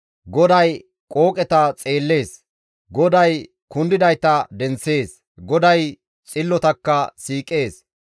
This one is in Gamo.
GODAY qooqeta xeelisees. GODAY kundidayta denththees; GODAY xillotakka siiqees.